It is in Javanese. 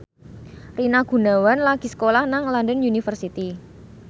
Rina Gunawan lagi sekolah nang London University